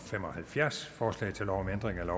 der kan